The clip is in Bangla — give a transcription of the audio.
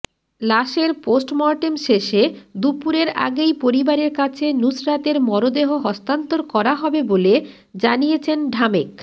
লাশের পোস্টমর্টেম শেষে দুপুরের আগেই পরিবারের কাছে নুসরাতের মরদেহ হস্তান্তর করা হবে বলে জানিয়েছেন ঢামেক